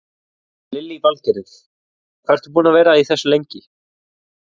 Lillý Valgerður: Hvað ertu búinn að vera í þessu lengi?